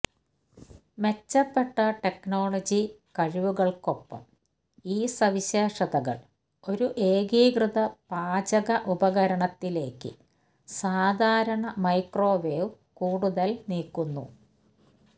മെച്ചപ്പെട്ട ടെക്നോളജി കഴിവുകൾക്കൊപ്പം ഈ സവിശേഷതകൾ ഒരു ഏകീകൃത പാചക ഉപകരണത്തിലേക്ക് സാധാരണ മൈക്രോവേവ് കൂടുതൽ നീക്കുന്നു